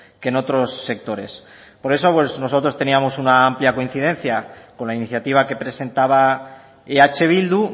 que en otros sectores por eso pues nosotros teníamos una amplia coincidencia con la iniciativa que presentaba eh bildu